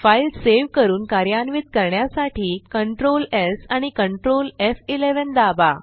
file save करून कार्यान्वित करण्यासाठी Ctrl स् आणि Ctrl एफ11 दाबा